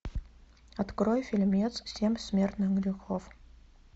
открой фильмец семь смертных грехов